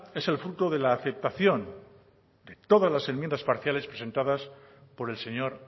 es el fruto de la aceptación de todas las enmiendas parciales presentadas por el señor